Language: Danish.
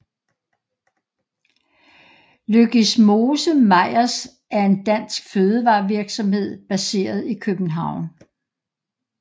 Løgismose Meyers er en dansk fødevarevirksomhed baseret i København